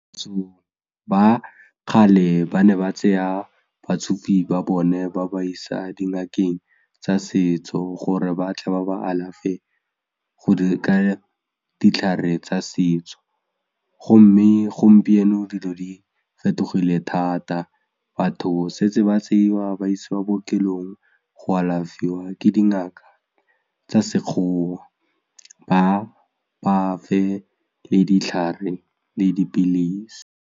Batho ba kgale ba ne ba tseya batsofe ba bone ba ba isa dingakeng tsa setso gore batle ba ba alafe ka ditlhare tsa setso gomme gompieno dilo di fetogile thata batho setse ba tseiwa ba isiwa ko bookelong go alafiwa ke dingaka tsa sekgowa ba bafa le ditlhare le dipilisi.